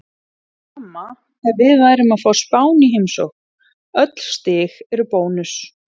Sama ef við værum að fá Spán í heimsókn, öll stig eru bónus.